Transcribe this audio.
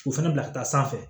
U fɛnɛ bila ka taa sanfɛ